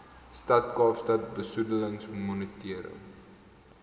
stad kaapstad besoedelingsmonitering